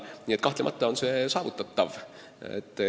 Nii et kahtlemata on see saavutatav.